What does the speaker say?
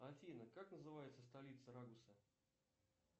афина как называется столица рагуза